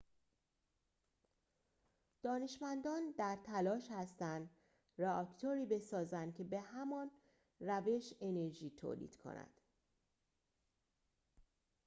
دانشمندان در تلاش هستند رآکتوری بسازند که به همان روش انرژی تولید کند